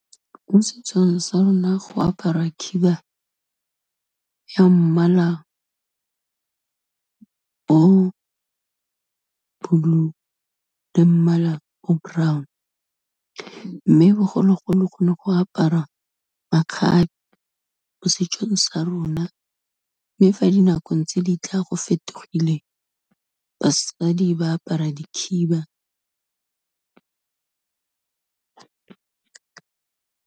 Mo setsong sa rona go apara khiba ya mmala o blue le mmala o brown, mme bogologolo go ne go aparwa makgabe mo setsong sa rona, mme fa dinakong tse ditla go fetogile, basadi ba apara dikhiba.